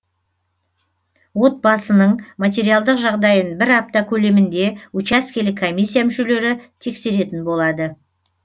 отбасының материалдық жағдайын бір апта көлемінде учаскелік комиссия мүшелері тексеретін болады